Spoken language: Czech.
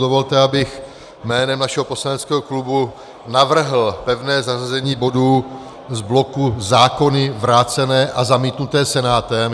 Dovolte, abych jménem našeho poslaneckého klubu navrhl pevné zařazení bodů z bloku zákony vrácené a zamítnuté Senátem.